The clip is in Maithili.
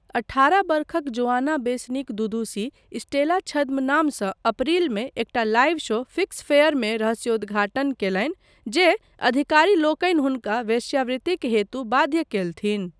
अठारह वर्षक जोआना बेसनिक दुदुशी, स्टेला छद्मनामसँ अप्रिलमे एकटा लाइव शो 'फ़िक्स फ़ेयर'मे रहस्योद्घाटन कयलनि जे अधिकारीलोकनि हुनका वेश्यावृतिक हेतु बाध्य कयलनि।